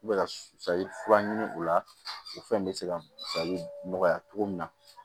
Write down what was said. U bɛ ka salifura ɲini o la o fɛn in bɛ se ka falen nɔgɔya cogo min na